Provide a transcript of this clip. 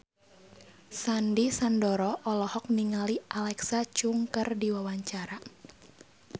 Sandy Sandoro olohok ningali Alexa Chung keur diwawancara